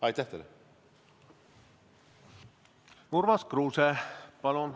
Urmas Kruuse, palun!